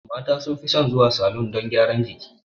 Mata sun fi son zuwa salon don gyaran jiki